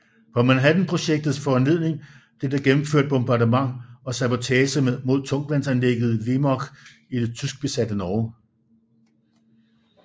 På Manhattanprojektets foranledning blev der gennemført bombardement og sabotage mod tungtvandsanlægget i Vemork i det tyskbesatte Norge